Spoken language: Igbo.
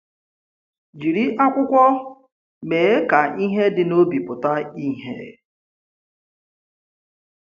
Jìrì ákwùkwọ̀ mee ka ihe dị n’obi pụta ìhè.